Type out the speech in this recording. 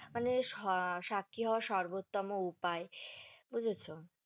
মানে আহ সাক্ষী হওয়ার সর্বোত্তম উপায় বুঝেছো?